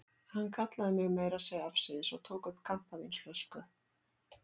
Hann kallaði mig meira að segja afsíðis og tók upp kampavínsflösku.